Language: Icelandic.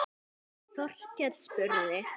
Þorkell spurði